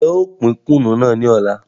N jẹ ó pín Kùnú náà ni ọ̀la.